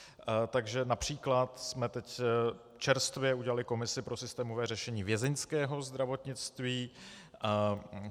Takže například jsme teď čerstvě udělali komisi pro systémové řešení vězeňského zdravotnictví.